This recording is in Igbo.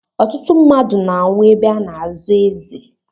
Ọtụtụ mmadụ na-anwụ ebe a na-azọ eze.